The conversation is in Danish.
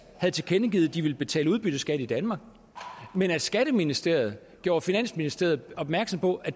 havde tilkendegivet at de ville betale udbytteskat i danmark men at skatteministeriet havde gjort finansministeriet opmærksom på at